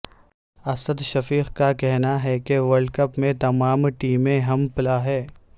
اسد شفیق کا کہنا ہے کہ ورلڈ کپ میں تمام ٹیمیں ہم پلہ ہیں